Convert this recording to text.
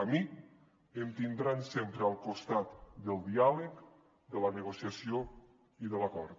a mi em tindran sempre al costat del diàleg de la negociació i de l’acord